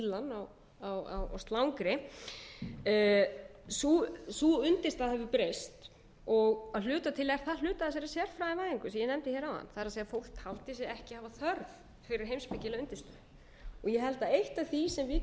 kallað heimspekileg forxxxxvísindi eða fílan á slangri sú undirstaða hefur breyst að hluta til er það hluti af þessari sérfræðivæðingu sem ég nefndi hér áðan það er fólk taldi sig ekki hafa þörf fyrir heimspekilega undirstöðu ég held að eitt af því sem við